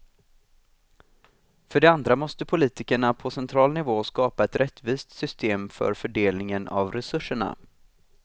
För det andra måste politikerna på central nivå skapa ett rättvist system för fördelningen av resurserna.